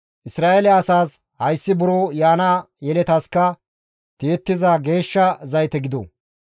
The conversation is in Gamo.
Isra7eele asaas, ‹Hayssi buro yaana yeletaska tiyettiza geeshsha zayte gido.